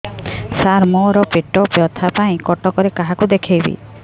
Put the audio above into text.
ସାର ମୋ ର ପେଟ ବ୍ୟଥା ପାଇଁ କଟକରେ କାହାକୁ ଦେଖେଇବି